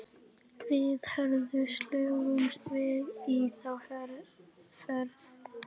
Við Hörður slógumst með í þá för.